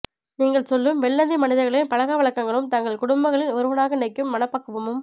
நீங்கள் சொல்லும் வெள்ளந்தி மனிதர்களின் பழக்கவழக்கங்களும் தங்கள் குடும்பங்களின் ஒருவனாக நினைக்கும் மனப்பக்குவமும்